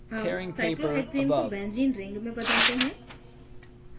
अब cyclohexane को benzene ring में बदलते हैं